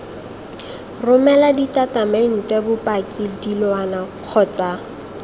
romela ditatamente bopaki dilwana kgotsa